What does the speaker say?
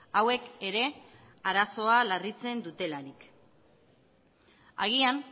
hauek ere arazoa larritzen dutelarik agian